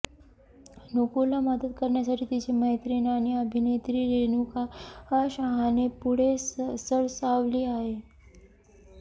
नुपूरला मदत करण्यासाठी तिची मैत्रीण आणि अभिनेत्री रेणुका शहाणे पुढे सरसावली आहे